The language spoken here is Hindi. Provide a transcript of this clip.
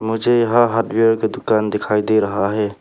मुझे यहां हार्डवेयर का दुकान दिखाई दे रहा है।